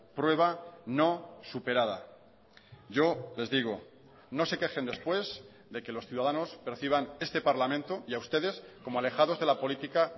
prueba no superada yo les digo no se quejen después de que los ciudadanos perciban este parlamento y a ustedes como alejados de la política